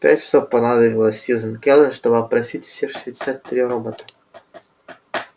пять часов понадобилось сьюзен кэлвин чтобы опросить все шестьдесят три робота